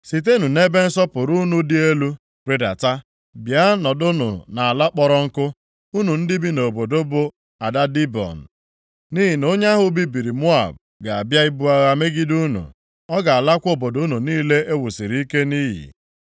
“Sitenụ nʼebe nsọpụrụ unu dị elu rịdata, bịa nọdụnụ nʼala kpọrọ nkụ, unu ndị bi nʼobodo bụ Ada Dibọn. Nʼihi na onye ahụ bibiri Moab ga-abịa ibu agha megide unu, ọ ga-alakwa obodo unu niile e wusiri ike nʼiyi.